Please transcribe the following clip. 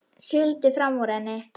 Sigldi fram úr henni.